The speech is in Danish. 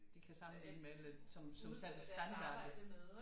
De kan sammenligne med lidt som standarder